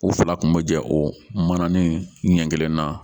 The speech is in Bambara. O fila kun bɛ jɛ o manani ɲɛ kelen na